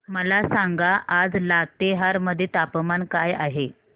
मला सांगा आज लातेहार मध्ये तापमान काय आहे